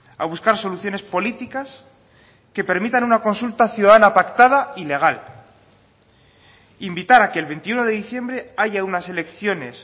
a buscar soluciones políticas que permitan una consulta ciudadana pactada y legal invitar a que el veintiuno de diciembre haya unas elecciones